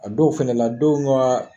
A dɔw fɛnɛ la denw ka